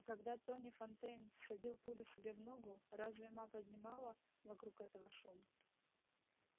а когда тони фонтейн всадил пулю себе в ногу разве ма поднимала вокруг этого шум